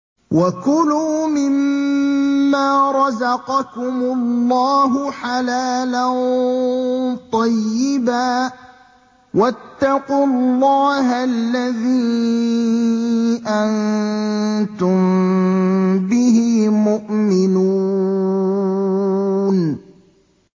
وَكُلُوا مِمَّا رَزَقَكُمُ اللَّهُ حَلَالًا طَيِّبًا ۚ وَاتَّقُوا اللَّهَ الَّذِي أَنتُم بِهِ مُؤْمِنُونَ